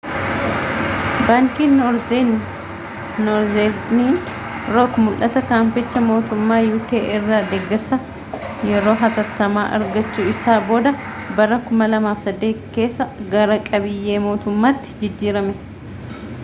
baankiin noorzerni rook mul'ata kaampanichi mootummaa uk irraa deeggarsa yeroo hatattamaa argachuu isaa booda bara 2008 keessa gara qabiyyee mootummaatti jijjiirame